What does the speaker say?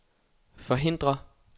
forhindre